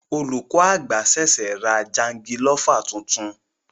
Olùkọ àgbà ṣẹṣẹ ra jangilofa tuntun.